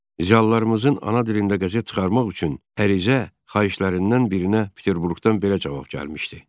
Ziyalılarımızın ana dilində qəzet çıxarmaq üçün ərizə, xahişlərindən birinə Peterburqdan belə cavab gəlmişdi: